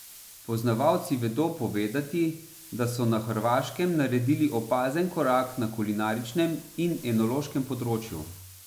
Poznavalci vedo povedati, da so na Hrvaškem naredili opazen korak na kulinaričnem in enološkem področju.